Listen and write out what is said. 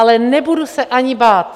Ale nebudu se ani bát.